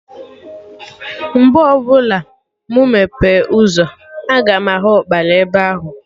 Mgbe ọbụla mụ meghee ụzọ, aga m ahụ Ụkpana ebe ahụ